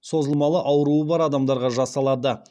сондай ақ созылмалы ауруы бар адамдарға жасалады